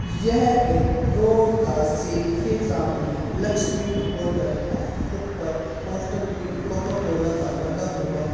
यह एक रोड का सीन के सामने लक्ष्मी होटल है| ऊपर पोस्टर भी कोका-कोला का लगा हुआ है।